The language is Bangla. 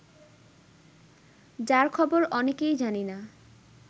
যার খবর অনেকেই জানি না